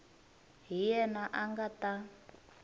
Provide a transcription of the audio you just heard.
hi yena a nga ta